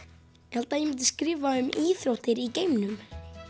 held að ég myndi skrifa um íþróttir í geimnum